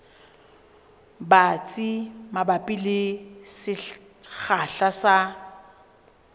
batsi mabapi le sekgahla sa